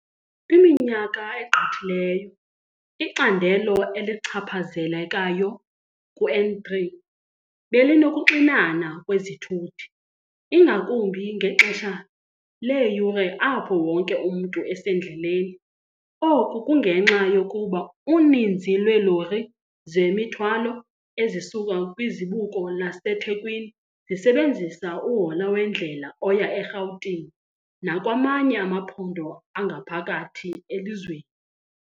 Kwiminyaka egqithileyo icandelo elichaphazelekayo ku-N3 belinokuxinana kwezithuthi, ingakumbi ngexesha leeyure apho wonke umntu esendleleni, oku kungenxa yokuba uninzi lwelori zemithwalo ezisuka kwizibuko laseThekwini zisebenzisa uhola wendlela oya e-Gauteng nakwa manye amaphondo angaphakathi elizweni.